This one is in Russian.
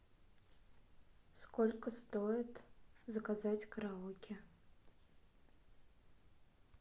сколько стоит заказать караоке